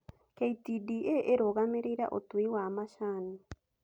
KTDA ĩrũgamĩrĩire ũtui wa macani.